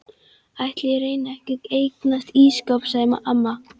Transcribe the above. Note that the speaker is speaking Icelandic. Ætli ég reyni ekki að eignast ísskáp sagði amma.